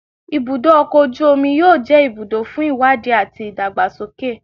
Ibudo ọkọ oju omi yoo jẹ ibudo fun iwadi ati idagbasoke